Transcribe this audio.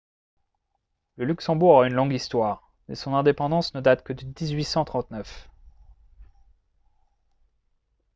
le luxembourg a une longue histoire mais son indépendance ne date que de 1839